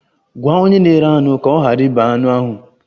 Gwa onye na-ere anụ ka ọ ghara ịbe anụ ahụ!